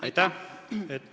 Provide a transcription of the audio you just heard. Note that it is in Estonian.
Aitäh!